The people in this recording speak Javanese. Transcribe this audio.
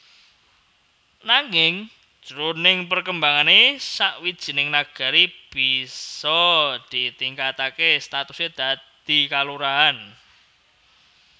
Nanging jroning perkembangané sawijining Nagari bisa ditingkataké statusé dadi kalurahan